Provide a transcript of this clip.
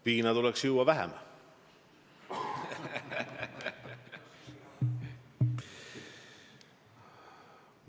Viina tuleks juua vähem.